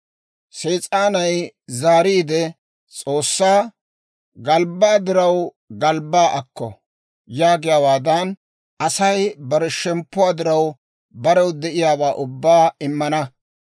Sees'aanay zaariide S'oossaa, « ‹Galbbaa diraw galbbaa akko!› yaagiyaawaadan, Asay bare shemppuwaa diraw, barew de'iyaawaa ubbaa immana.